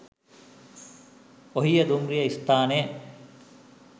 ඔහිය දුම්රිය ස්ථානය